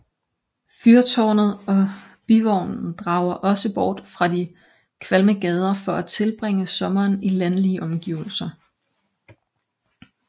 Fyrtaarnet og Bivognen drager også bort fra de kvalme gader for at tilbringe sommeren i landlige omgivelser